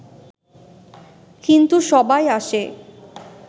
কিন্তু সবাই আসে